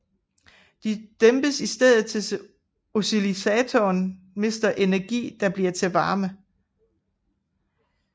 De dæmpes i stedet idet oscillatoren mister energi der bliver til varme